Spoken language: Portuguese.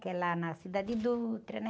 Que é lá na, né?